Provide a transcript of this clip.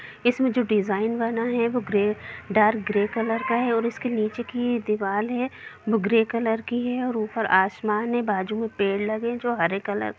इसमें जो डिजाईन बना है वो ग्रे डार्क ग्रे कलर का है निचे की दिवार है जो ग्रे कलर की है ऊपर असमान है बाजु में पेड़ लगे है जो हरे कलर --